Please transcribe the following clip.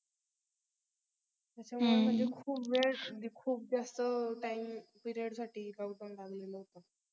कस असा मनामध्ये खूप वेळे म्हणजे खूप जास्त TIME period साठी lockdown लागलेल होत